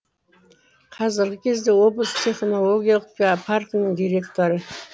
қазіргі кезде облыс технологиялық паркінің директоры